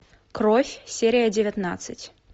кровь серия девятнадцать